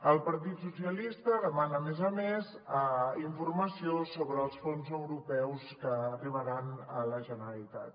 el partit socialista demana a més a més informació sobre els fons europeus que arribaran a la generalitat